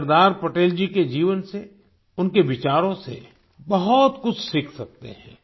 हम सरदार पटेल जी के जीवन से उनके विचारों से बहुत कुछ सीख सकते हैं